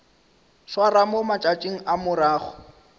swarwa mo matšatšing a morago